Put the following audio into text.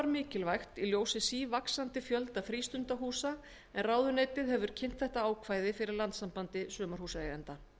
mikilvægt í ljósi sívaxandi fjölda frístundahúsa en ráðuneytið hefur kynnt þetta ákvæði fyrir landssambandi sumarhúsaeigenda